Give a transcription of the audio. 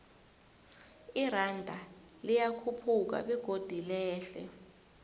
iranda liyakhuphuka begodu lehle